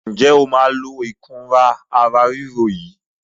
Ǹjẹ́ o máa lo Ẹ̀rọ̀ ara ríro yìí?